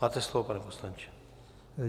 Máte slovo, pane poslanče.